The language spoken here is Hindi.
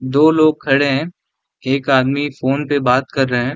दो लोग खड़े हैं एक आदमी फ़ोन पे बात कर रहे हैं।